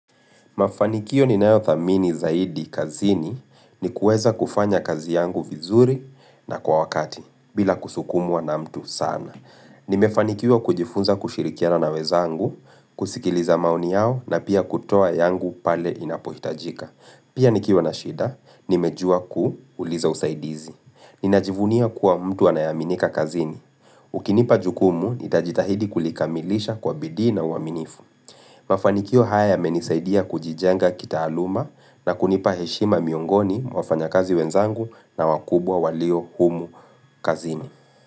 Mafanikio ninayothamini zaidi kazini ni kuweza kufanya kazi yangu vizuri na kwa wakati, bila kusukumwa na mtu sana. Nimefanikiwa kujifunza kushirikiana na wenzangu, kusikiliza maoni yao na pia kutoa yangu pale inapohitajika. Pia nikiwa na shida, nimejua kuuliza usaidizi. Ninajivunia kuwa mtu anayeaminika kazini. Ukinipa jukumu, nitajitahidi kulikamilisha kwa bidii na uaminifu. Mafanikio haya yamenisaidia kujijenga kitaaluma na kunipa heshima miungoni mwa wafanyakazi wenzangu na wakubwa walio humu kazini.